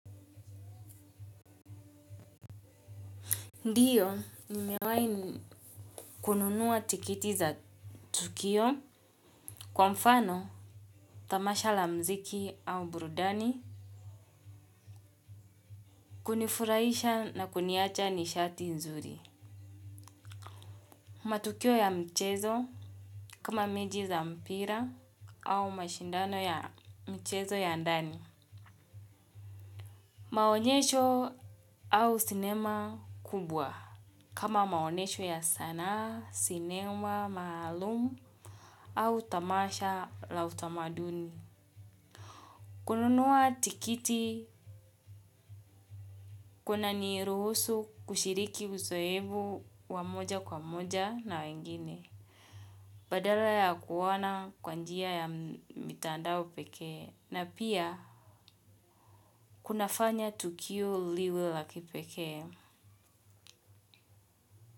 Ndio nimewahi kununua tikiti za tukio kwa mfano tamasha la muziki au burudani kunifurahisha na kuniacha nishati nzuri. Matukio ya mchezo kama mechi za mpira au mashindano ya mchezo ya ndani. Maonyesho au sinema kubwa kama maonesho ya sanaa, sinema, maalum au tamasha la utamaduni. Kununua tikiti kunaniruhusu kushiriki uzoefu wa moja kwa moja na wengine. Badala ya kuona kwa njia ya mitandao pekee na pia kuna fanya tukio liwe la kipekee.